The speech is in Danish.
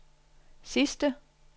sidste